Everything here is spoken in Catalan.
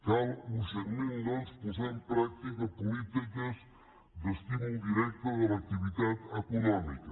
cal urgentment doncs posar en pràctica polítiques d’estímul directe de l’activitat econòmica